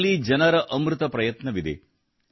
ಇದರಲ್ಲಿ ಜನರ ಅಮೃತ ಪ್ರಯತ್ನವಿದೆ